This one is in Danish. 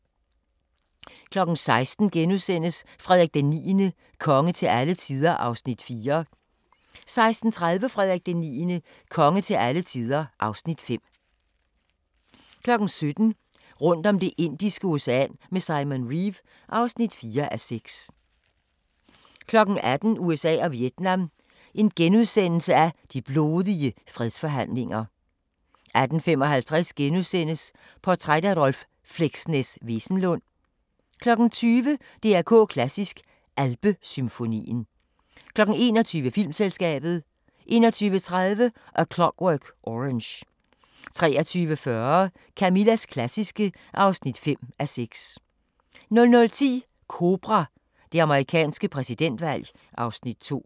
16:00: Frederik IX – konge til alle tider (Afs. 4)* 16:30: Frederik IX – konge til alle tider (Afs. 5) 17:00: Rundt om Det indiske Ocean med Simon Reeve (4:6) 18:00: USA og Vietnam: De blodige fredsforhandlinger * 18:55: Portræt af Rolv "Fleksnes" Wesenlund * 20:00: DR K Klassisk: Alpesymfonien 21:00: Filmselskabet 21:30: A Clockwork Orange 23:40: Camillas klassiske (5:6) 00:10: Kobra – Det amerikanske præsidentvalg (Afs. 2)